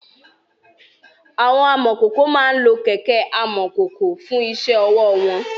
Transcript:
Àwọn amọ̀kòkò máa ń lo kẹ̀kẹ́ amọ̀kòkò fún iṣẹ́ ọwọ́ wọn.